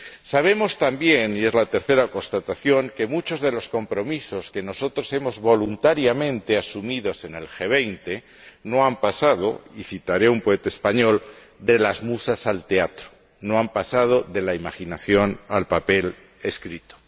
Sabemos también, y es la tercera constatación, que muchos de los compromisos que nosotros hemos voluntariamente asumido en el G20 no han pasado y citaré a un poeta español de las musas al teatro, no han pasado de la imaginación al papel escrito.